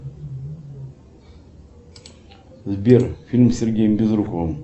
сбер фильм с сергеем безруковым